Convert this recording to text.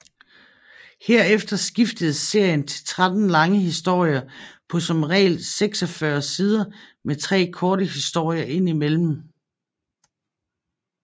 Herefter skiftede serien til 13 lange historier på som regel 46 sider med tre korte historier ind imellem